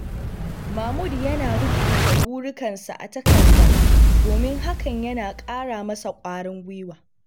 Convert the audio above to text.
Mahmud yana rubuta burikansa a takarda domin hakan yana ƙara masa ƙwarin gwiwa.